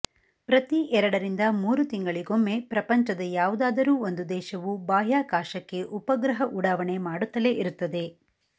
ಪ್ರತಿ ಎರಡರಿಂದ ಮೂರು ತಿಂಗಳಿಗೊಮ್ಮೆ ಪ್ರಪಂಚದ ಯಾವುದಾದರೂ ಒಂದು ದೇಶವು ಬಾಹ್ಯಾಕಾಶಕ್ಕೆ ಉಪಗ್ರಹ ಉಡಾವಣೆ ಮಾಡುತ್ತಲೆ ಇರುತ್ತದೆ